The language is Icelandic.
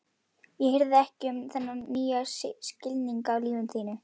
Ég hirði ekki um þennan nýja skilning á lífinu.